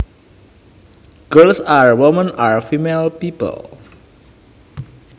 Girls and women are female people